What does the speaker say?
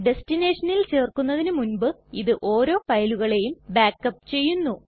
ടെസ്ടിനെഷനിൽ ചേര്ക്കുന്നതിന് മുൻപ് ഇത് ഓരോ ഫയലുകളെയും ബാക്ക് അപ്പ് ചെയ്യുന്നു